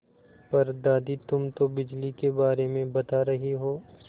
पर दादी तुम तो बिजली के बारे में बता रही हो